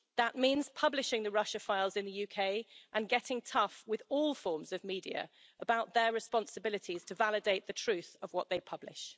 That means publishing the Russia files in the UK and getting tough with all forms of media about their responsibilities to validate the truth of what they publish.